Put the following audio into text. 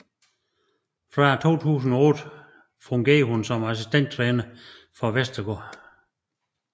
Fra 2008 fungerede hun som assistenttræner for Vestergaard